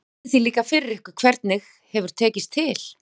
En veltið því líka fyrir ykkur hvernig hefur tekist til?